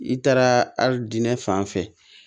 I taara ali diinɛ fan fɛ